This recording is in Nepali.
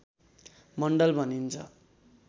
मण्डल भनिन्छ